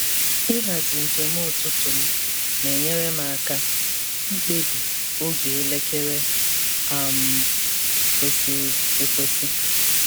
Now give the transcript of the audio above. Ịhazi njem ụtụtụ m na-enyere m aka ikpebi oge elekere um kwesịrị ekwesị.